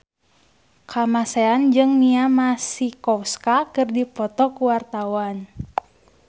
Kamasean jeung Mia Masikowska keur dipoto ku wartawan